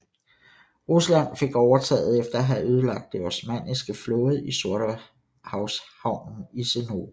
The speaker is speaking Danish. Rusland fik overtaget efter at have ødelagt den osmanniske flåde i Sortehavshavnen i Sinope